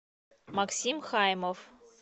максим хаймов